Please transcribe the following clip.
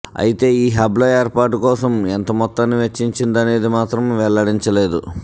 అయితే ఈ హబ్ల ఏర్పాటు కోసం ఎంత మొత్తాన్ని వెచ్చించిందనేది మాత్రం వెల్లడించలేదు